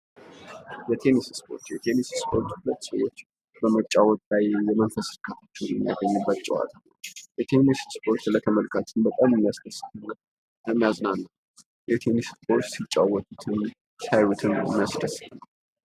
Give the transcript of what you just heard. የቴንስ ስፖርት:- የቴንስ ስፖርት ሁለት ሰዎች በመጫወት የመንፈስ ርካታ የሚያገኙበት ጨዋታ። የቴንስ ስፖርት ለተመልካች በጣም የሚያስደስት እና የሚያዝናና ሲጫወቱትም ሲያዩትም የሚያስደስት ነዉ።